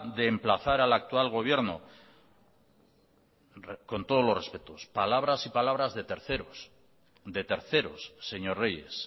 de emplazar al actual gobierno con todos los respetos palabras y palabras de terceros señor reyes